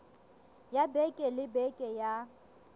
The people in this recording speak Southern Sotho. ya beke le beke ya